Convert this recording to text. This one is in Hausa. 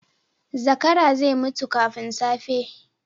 Zakara zai mutu kafin safe.